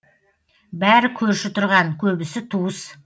бәрі көрші тұрған көбісі туыс